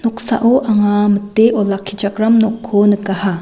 noksao anga mite olakkichakram nokko nikaha.